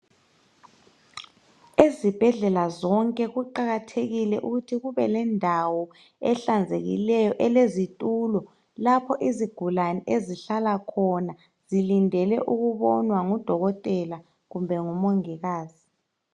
Ezibhedlela zonke kuqakathekile ukuthi kube lendawo ehlanzekileyo, elezitulo lapho izigulane ezihlale khona zilindele ukubonwa ngudokotela kumbe ngumongikazi.